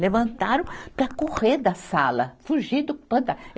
Levantaram para correr da sala. Fugir do fanta